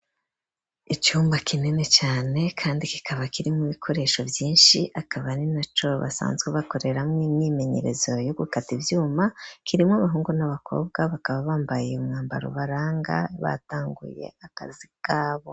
Icumba kinini cane kandi kikaba kirimwo ibikoresho vyishi akaba ari naco basanzwe bakoreramwo imyimenyerezo yo gukata ivyuma kirimwo abahungu n'abakobwa bakaba bambaye umwambaro ubaranga batanguye akazi kabo.